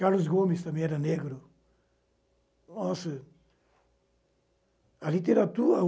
Carlos Gomes também era negro. Nossa a literatura